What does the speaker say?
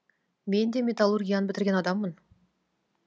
мен де металлургияны бітірген адаммын